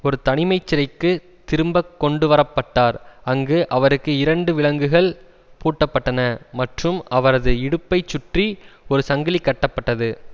ஒரு தனிமை சிறைக்கு திரும்ப கொண்டு வரப்பட்டார் அங்கு அவருக்கு இரண்டு விலங்குகள் பூட்டப்பட்டன மற்றும் அவரது இடுப்பைச் சுற்றி ஒரு சங்கிலி கட்டப்பட்டது